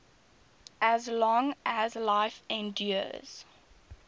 as long as life endures